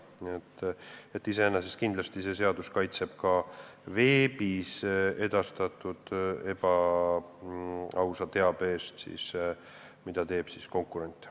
Nii et iseenesest see seadus kaitseb kindlasti ka veebis edastatud ebaausa teabe eest, mida levitab konkurent.